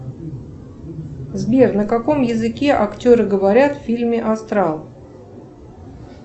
сбер на каком языке актеры говорят в фильме астрал